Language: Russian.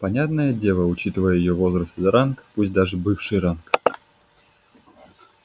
понятное дело учитывая её возраст и ранг пусть даже бывший ранг